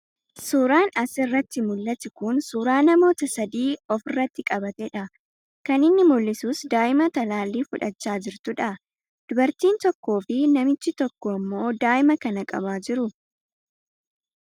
Suuraan as irratti mul'atu kun suuraa namoota sadii of irratti qabatee dha. Kan inni mul'isus daa'ima talaallii fudhachaa jirtuu dha. Dubartiin tokkoo fi namichi tokko ammoo daa'ima kana qabaa jiru.